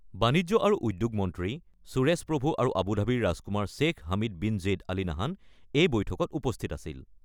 বাণিজ্য আৰু উদ্যোগ মন্ত্ৰী সুৰেশ প্ৰভু আৰু আবুধাবিৰ ৰাজকুমাৰ Sheikh Hamid bin Zayed Al Nahyan এই বৈঠকত উপস্থিত আছিল।